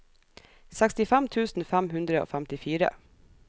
sekstifem tusen fem hundre og femtifire